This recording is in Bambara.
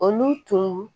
Olu tun